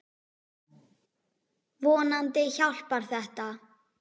Vonandi hjálpar þetta.